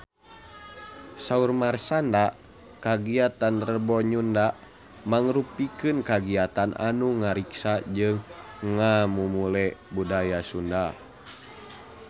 Saur Marshanda kagiatan Rebo Nyunda mangrupikeun kagiatan anu ngariksa jeung ngamumule budaya Sunda